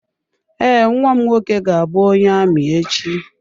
Ee, nnwa m nwoke ga-abụ onye amị echi.